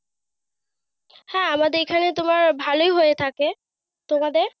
হ্যাঁ আমাদের এইখানে ভালোই হয়ে থাকে। তোমাদের?